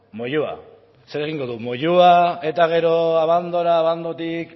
moyua ze egingo du moyua eta gero abandora abandorik